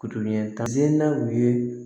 ɲɛtaga sen daw ye